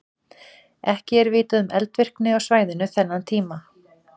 Ekki er vitað um eldvirkni á svæðinu þennan tíma.